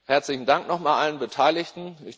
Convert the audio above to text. Herzlichen Dank nochmal allen Beteiligten.